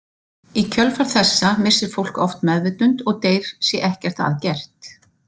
Í kjölfar þessa missir fólk oft meðvitund og deyr sé ekkert að gert.